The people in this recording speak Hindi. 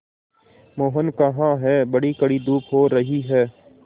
मोहन कहाँ हैं बड़ी कड़ी धूप हो रही है